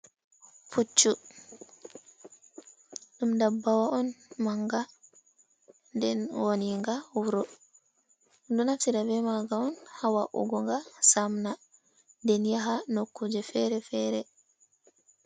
Puccu ɗum dabbawa on manga nden woniinga wuro, dyo naftira bee maaga on haa wa’ugo nga samna nden yaha nokuuje fere-fere.